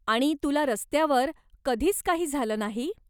आणि, तुला रस्त्यावर कधीच काही झालं नाही?